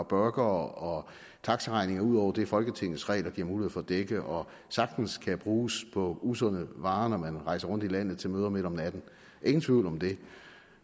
burgere og taxaregninger ud over det folketingets regler giver mulighed for at dække og sagtens kan bruges på usunde varer når man rejser rundt i landet til møder midt om natten ingen tvivl om det